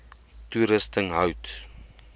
toerusting hout